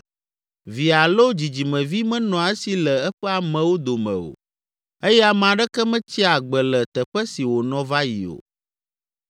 Vi alo dzidzimevi menɔa esi le eƒe amewo dome o eye ame aɖeke metsia agbe le teƒe si wònɔ va yi o.